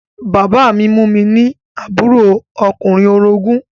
Bàbá mi mú mi ní àbúrò ọkùnrin orogún